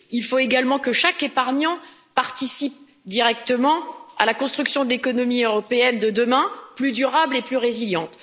Il faut également que chaque épargnant participe directement à la construction de l'économie européenne de demain, plus durable et plus résiliente.